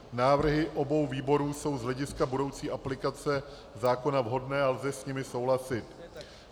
Návrhy obou výborů jsou z hlediska budoucí aplikace zákona vhodné a lze s nimi souhlasit.